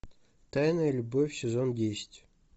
тайная любовь сезон десять